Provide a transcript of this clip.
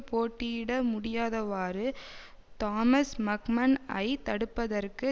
போட்டியிட முடியாதவாறு தோமஸ் மக்மன் ஐ தடுப்பதற்கு